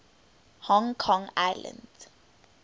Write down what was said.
hong kong island